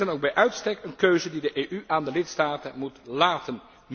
Dit is dan ook bij uitstek een keuze die de EU aan de lidstaten moet laten.